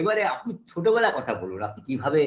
এবারে আপনি ছোটবেলার কথা বলুন আপনি কিভাবে